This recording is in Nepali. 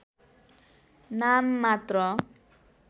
नाम मात्र